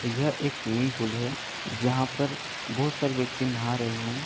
यह एक swimming pool है। जहाँ पर बहुत सारे व्यक्ति नहा रहे हैं।